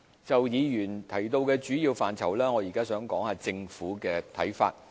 就議員提到的主要範疇，我現在談談政府的看法。